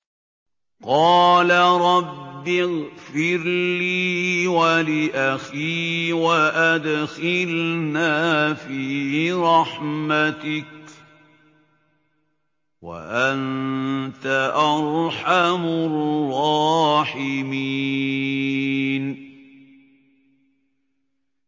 قَالَ رَبِّ اغْفِرْ لِي وَلِأَخِي وَأَدْخِلْنَا فِي رَحْمَتِكَ ۖ وَأَنتَ أَرْحَمُ الرَّاحِمِينَ